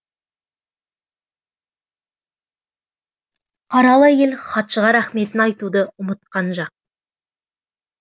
қаралы әйел хатшыға рақметін айтуды ұмытқан жақ